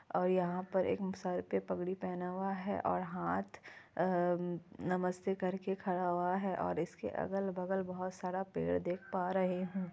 और यहाँ पर एक सर पे पगड़ी पहना हुआ है और हाथ आ नमस्ते करके खड़ा हुआ है। और इसके अगल-बगल बहुत सारा पेड़ देख पा रहे हैं।